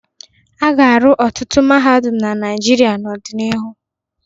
A ga-arụ ọtụtụ mahadum na Naịjirịa n'ọdịnihu.